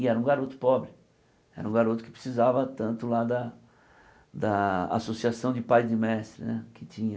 E era um garoto pobre, era um garoto que precisava tanto lá da da associação de pais de mestres né que tinha.